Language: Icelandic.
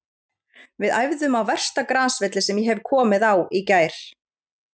Við æfðum á versta grasvelli sem ég hef komið á í gær.